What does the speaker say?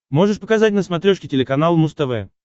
можешь показать на смотрешке телеканал муз тв